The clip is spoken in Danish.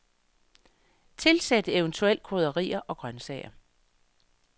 Tilsæt eventuelt krydderier og grønsager.